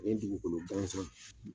O ye dugukolo gansan